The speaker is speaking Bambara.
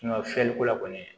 fiyɛliko la kɔni